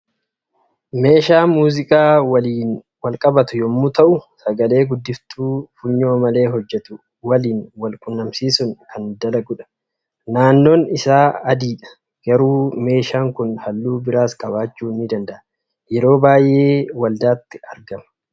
Meeshaa muuziqaa walijn walqabatu yommuu ta'u, sagalee guddiftuu funyoo malee hojjetu waliin wal quunnamsiisuun kan dalagudha. Naannoon isaa adiidha. Garuu meeshaan kun halluu biraas qabaachuu ni danda'a. Yeroo baay'ee waldaatti argama.